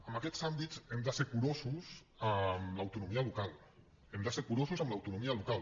en aquests àmbits hem de ser curosos amb l’autonomia local hem de ser curosos amb l’autonomia local